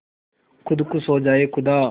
खुद खुश हो जाए खुदा